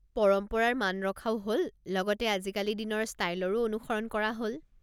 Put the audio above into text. পৰম্পৰাৰ মান ৰখাও হ'ল লগতে আজিকালি দিনৰ ষ্টাইলৰো অনুসৰণ কৰা হ'ল।